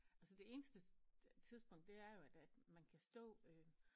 Altså det eneste øh tidspunkt det er jo at at man kan stå øh